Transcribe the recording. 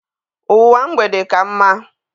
Ụwa mgbede ka mma.